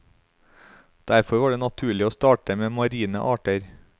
Derfor var det naturlig å starte med marine arter.